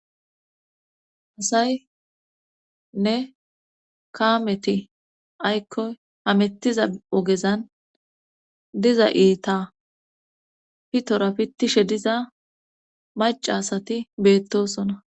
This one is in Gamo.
Asayne kaameti aykkoy hamettiza ogezan diza iita pitora pittishe diza mac asati beettosona.